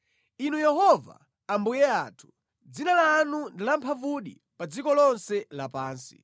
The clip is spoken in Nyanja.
Inu Yehova, Ambuye athu, dzina lanu ndi lamphamvudi pa dziko lonse lapansi!